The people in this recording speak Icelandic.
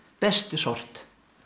bestu sort